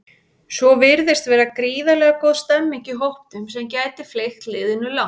Svo virðist vera gríðarlega góð stemmning í hópnum sem gæti fleygt liðinu langt.